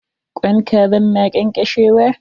Kwain kazan na ƙeƙeshewa.